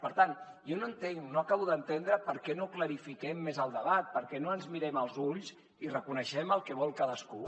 per tant jo no entenc no acabo d’entendre per què no clarifiquem més el debat per què no ens mirem als ulls i reconeixem el que vol cadascú